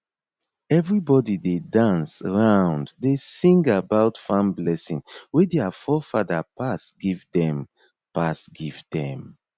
everybody dey dance round dey sing about farm blessing wey dia forefather pass give them pass give them